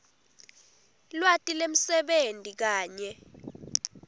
lwati lwemsebenti kanye